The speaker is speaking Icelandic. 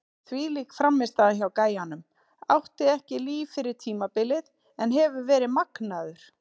Þvílík frammistaða hjá gæjanum, átti ekki líf fyrir tímabilið en hefur verið magnaður!